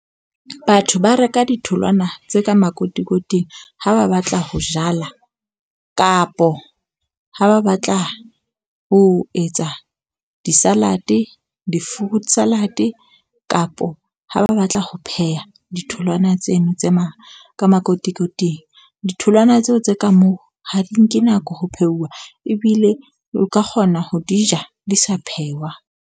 Batho ba reka ditholwana tse ka makotikoting ha ba batla ho jala, kapo ha ba batla ho etsa di salad, di-fruit salad kapa ha ba batla ho pheha ditholwana tseno tse mang ka makotikoting. Ditholwana tseo tse ka moo ha di nke nako ho pheuwa, ebile o ka kgona ho di ja, di sa phehwa.